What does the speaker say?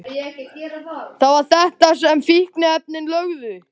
Það var þetta sem fíkniefnin löguðu.